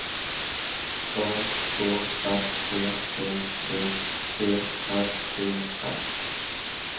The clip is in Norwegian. A K S E P T E R E R